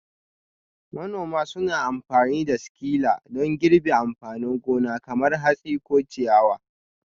Manoma suna amfani da sikila don girbi amfanin gona kamar hatsi ko ciyawa.